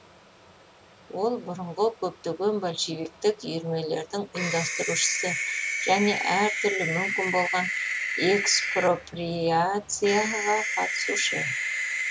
ол бұрынғы көптеген большевиктік үйірмелердің ұйымдастырушысы және әртүрлі мүмкін болған экспроприацияға қатысушы